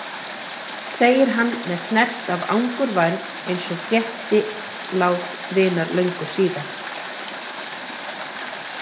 segir hann með snert af angurværð eins og frétti lát vinar löngu síðar.